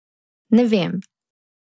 Ne vem.